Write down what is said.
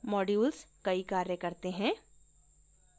modules कई कार्य करते हैं